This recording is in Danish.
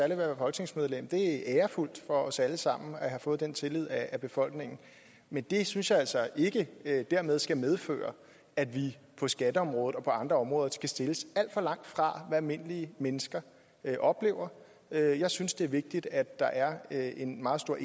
at være folketingsmedlem det er ærefuldt for os alle sammen at have fået vist den tillid af befolkningen men det synes jeg altså ikke dermed skal medføre at vi på skatteområdet og på andre områder skal stilles alt for langt fra hvad almindelige mennesker oplever jeg jeg synes det er vigtigt at der er en meget stor